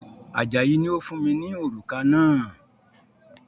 Ajayi ni ó fún mi ní òrùka náà